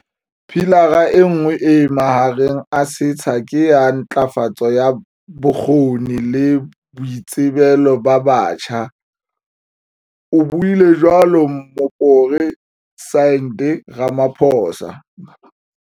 Pilara enngwe e mahareng a setsha ke ya ntlafatso ya bokgoni le boitsebelo ba batjha, o buile jwalo Mopore sidente Ramaphosa.